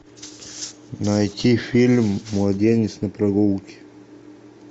найти фильм младенец на прогулке